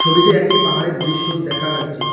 ছবিতে একটি পাহাড়ের দৃশ্য দেখা যাচ্ছে।